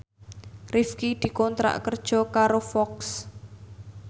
Rifqi dikontrak kerja karo Fox